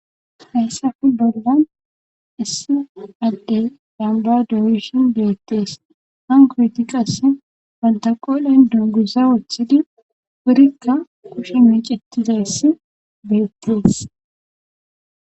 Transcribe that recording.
hayssafe bollan issi adde damba dooyison beettees han kooti qas pantaqoolen dugusa woththidi wurikka kushe miicitizayss beettees